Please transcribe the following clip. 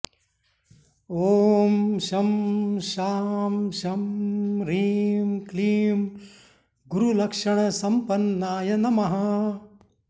ॐ शं शां षं ह्रीं क्लीं गुरुलक्षणसम्पन्नाय नमः